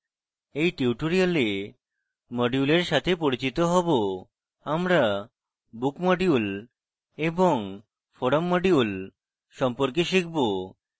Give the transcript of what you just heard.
in tutorial modules সাথে পরিচিত হব আমরা book module এবং forum module সম্পর্কে শিখব